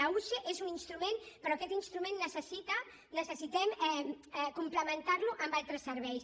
la usee és un instrument però aquest instrument necessitem complementarlo amb altres serveis